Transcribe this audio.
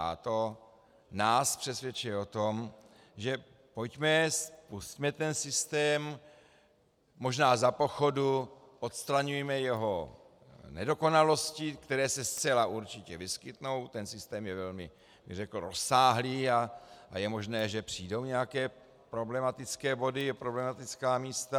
A to nás přesvědčuje o tom, že pojďme, spusťme ten systém, možná za pochodu odstraňujme jeho nedokonalosti, které se zcela určitě vyskytnou, ten systém je velmi rozsáhlý a je možné, že přijdou nějaké problematické body, problematická místa.